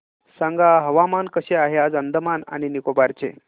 सांगा हवामान कसे आहे आज अंदमान आणि निकोबार चे